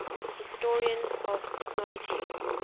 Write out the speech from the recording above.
historians of technology